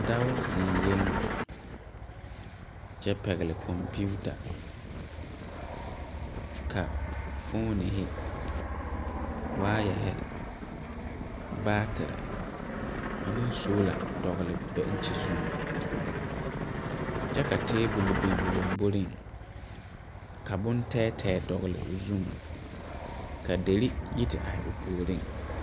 Dɔɔ ziŋɛɛ la kyɛ pɛgle kɔmpiita. Foomo ,waayɛre ,baateɛ ane sola dɔgle bɛŋkye zuiŋ. Tabol biŋ la a dɔɔ laŋboreŋ ka boŋ teɛteɛ dɔgle o zuiŋ kyɛ ka deri yi te are o puoreŋ